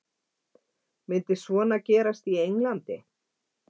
Myndi svona gerast í Englandi?